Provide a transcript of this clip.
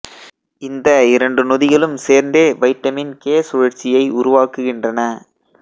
இந்த இரண்டு நொதிகளும் சேர்ந்தே வைட்டமின் கே சுழற்சியை உருவாக்குகின்றன